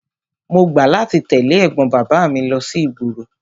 Mo gbà láti tẹ̀lé ẹ̀gbọ́n bàbá mi lọ sí ìgboro.